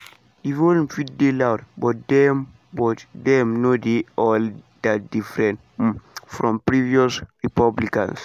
"di volume fit dey loud but dem but dem no dey all dat different um from previous republicans" di official tok.